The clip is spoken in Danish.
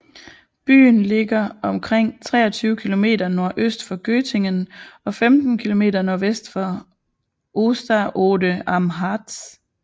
Byen ligger omkring 23 km nordøst for Göttingen og 15 km sydvest for Osterode am Harz